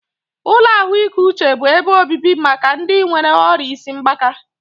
Ụlọ ahụike uche bụ ebe obibi maka ndị nwéré ọrịa isi mgbaka